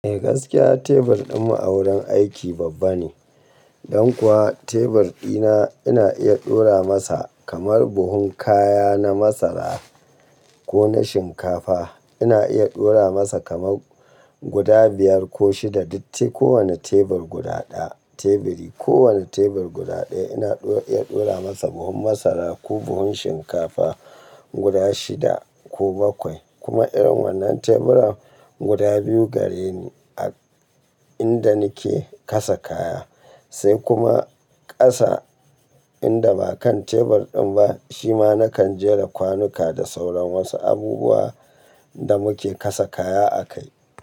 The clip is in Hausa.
Eh gaskiya tebur ɗinmu a wurin aiki babba ne, don kuwa tebur ɗina ina iya ɗora masa kamar buhun kaya na masara ko na shinkafa. Ina iya ɗora masa kamar guda biyar ko shida. Dutse kowane tebur guda ɗaya. Teburi kowane tebur guda ɗaya ina iya ɗora masa buhun masara ko buhun shinkafa guda shida ko bakwai. Kuma irin wannan teburan guda biyu gare ni a inda nake kasa kaya. Sai kuma ƙasa inda ba kan tebur ɗin ba shi ma nakan jera kwanuka da sauran wasu abubuwa da muke kasa kaya a kai.